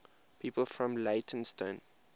people from leytonstone